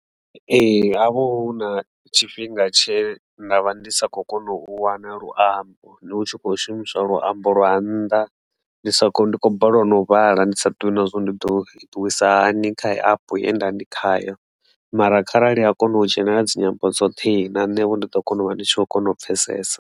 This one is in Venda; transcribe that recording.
Ee, ha vha hu na tshifhinga tshe nda vha ndi sa kho kona u wana luambo ndi hu tshi khou shumiswa luambo lwa nnḓa ndi sa ndi khou balelwa na u vhala ndi sa ḓivhi na zwori ndi ḓo itisa hani kha heyo epe ye nda ndi khayo, mara kharali a kona u dzhenelela dzi nyambo dzoṱhe na nṋe vho ndi ḓo kona u vha ndi tshi kho kona u pfhesesa.